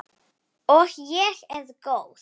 Og ég er góð.